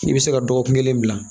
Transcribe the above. I bɛ se ka dɔgɔkun kelen bila